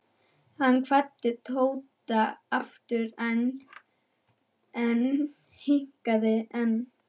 Hann kvaddi Tóta aftur EN en hikaði enn.